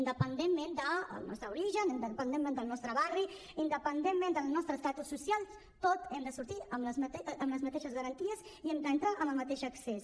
independentment del nostre origen independentment del nostre barri independentment del nostre estatus social tots n’hem de sortir amb les mateixes garanties i hi hem d’entrar amb el mateix accés